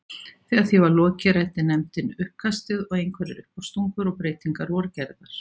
Þegar því var lokið ræddi nefndin uppkastið og einhverjar uppástungur og breytingar voru gerðar.